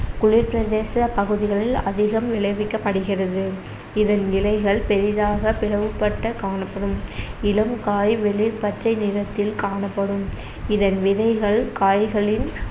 குளிர்பிரதேச பகுதிகளில் அதிகம் விளைவிக்கப்படுகிறது இதன் இலைகள் பெரிதாக பிளவுபட்ட காணப்படும் இளம் காய் வெளிர் பச்சைநிறத்தில் காணப்படும் இதன் விதைகள் காய்களின்